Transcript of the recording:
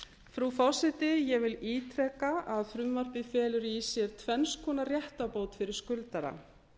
frú forseti ég vil ítreka að frumvarpið felur í sér tvenns konar réttarbót fyrir skuldara